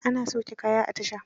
Ana sauke kaya a tasha.